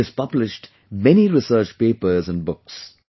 He has published many research papers and books